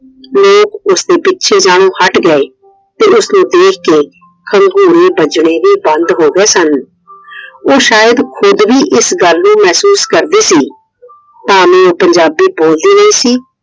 ਲੋਕ ਉਸਦੇ ਪਿੱਛੇ ਜਾਣੋ ਹਟ ਗਏ ਤੇ ਉਸਨੂੰ ਦੇਖ ਕੇ ਹੰਗੂਰੇ ਵੱਜਣੇ ਵੀ ਬੰਦ ਹੋ ਗਏ ਸਨ। ਉਹ ਸ਼ਾਇਦ ਖੁਦ ਵੀ ਇਸ ਗੱਲ ਨੂੰ ਮਹਿਸੂਸ ਕਰਦੀ ਸੀ। ਭਾਵੇ ਉਹ ਪੰਜਾਬੀ ਬੋਲਦੀ ਨਹੀਂ ਸੀ।